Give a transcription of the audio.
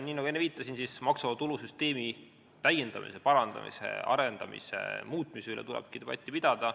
Nagu ma enne viitasin, maksuvaba tulu süsteemi täiendamise, parandamise, arendamise, muutmise üle tulebki debatti pidada.